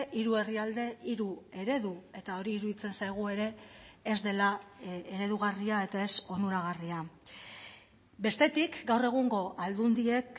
hiru herrialde hiru eredu eta hori iruditzen zaigu ere ez dela eredugarria eta ez onuragarria bestetik gaur egungo aldundiek